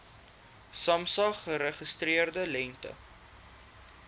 samsa geregistreerde lengte